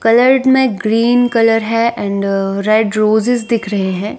Coloured में green colour है and red roses दिख रहे हैं।